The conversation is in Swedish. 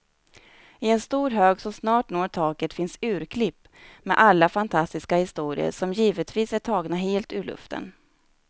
I en stor hög som snart når taket finns urklipp med alla fantastiska historier, som givetvis är tagna helt ur luften.